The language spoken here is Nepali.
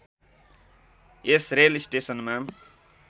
यस रेल स्टेसनमा